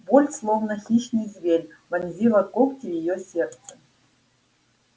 боль словно хищный зверь вонзила когти в её сердце